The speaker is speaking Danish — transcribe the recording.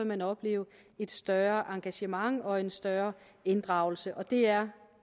man opleve et større engagement og en større inddragelse det er